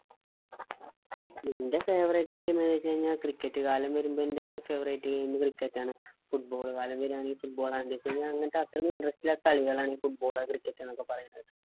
ന്റെ favourite game എന്നുവെച്ചുകഴിഞ്ഞാ cricket കാലം വരുമ്പോ എന്റ favourite gamecricket ആണ്. football കാലം വരാണെങ്കിൽ football ആണ്. അങ്ങനത്തെ അത്രക്ക interest ഇല്ലാത്ത കളികൾ ആണ് football ള് cricket എന്നൊക്കെ പറയുന്നത്.